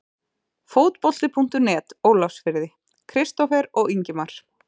Fótbolti.net, Ólafsfirði- Kristófer og Ingimar.